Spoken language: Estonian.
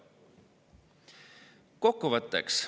Kokkuvõtteks.